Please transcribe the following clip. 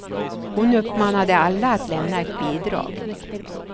Hon uppmanade alla att lämna ett bidrag.